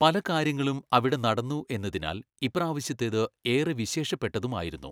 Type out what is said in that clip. പലകാര്യങ്ങളും അവിടെ നടന്നു എന്നതിനാൽ ഇപ്രാവശ്യത്തേത് ഏറെ വിശേഷപ്പെട്ടതുമായിരുന്നു.